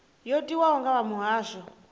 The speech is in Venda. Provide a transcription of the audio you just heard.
yo tiwaho nga vha muhasho